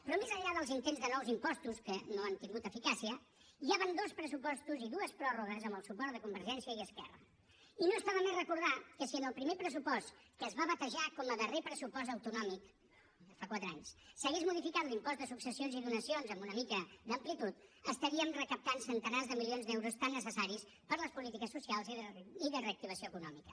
però més enllà dels intents de nous impostos que no han tingut eficàcia ja van dos pressupostos i dues pròrrogues amb el suport de convergència i esquerra i no està de més recordar que si en el primer pressupost que es va batejar com a darrer pressupost autonòmic fa quatre anys s’hagués modificat l’impost de successions i donacions amb una mica d’amplitud estaríem recaptant centenars de milions d’euros tan necessaris per a les polítiques socials i de reactivació econòmica